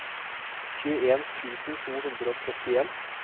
tjueen tusen to hundre og trettien